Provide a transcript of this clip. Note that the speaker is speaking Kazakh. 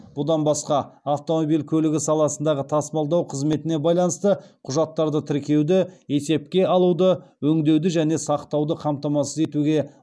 бұдан басқа автомобиль көлігі саласындағы тасымалдау қызметіне байланысты құжаттарды тіркеуді есепке алуды өңдеуді және сақтауды қамтамасыз етуге